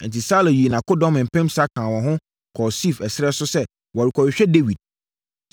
Enti, Saulo yii nʼakodɔm mpensa kaa wɔn ho kɔɔ Sif ɛserɛ so sɛ wɔrekɔhwehwɛ Dawid.